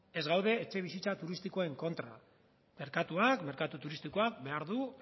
ez gaude etxebizitza turistikoen kontra merkatuak merkatu turistikoak behar du